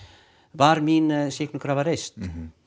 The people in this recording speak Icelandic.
var mín sýknukrafa reist